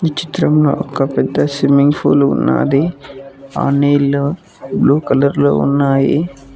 ఈ చిత్రంలో ఒక పెద్ద స్విమ్మింగ్ ఫూల్ ఉన్నాది ఆ నీళ్లు బ్లూ కలర్ లో ఉన్నాయి.